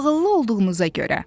Ağıllı olduğunuza görə.